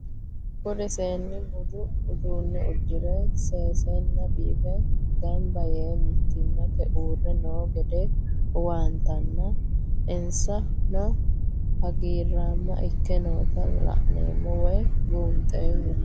Kuri seeni budu udune udire sesena bife gamiba yee mitimate uure noo gede huwantana insanohagirama Ike noota la'nemo woyi bunxemo